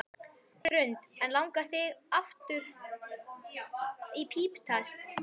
Hrund: En langar þig að fara aftur í píptest?